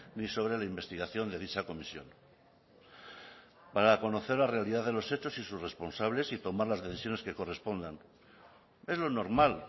ni sobre la investigación de dicha comisión para conocer la realidad de los hechos y sus responsables y tomar las decisiones que correspondan es lo normal